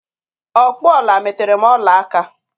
Ọkpụ ọla meterem ọla aka!